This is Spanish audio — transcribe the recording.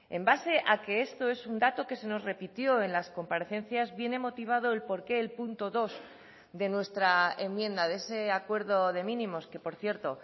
en base a que esto es un dato que se nos repitió en las comparecencias viene motivado el porqué el punto dos de nuestra enmienda de ese acuerdo de mínimos que por cierto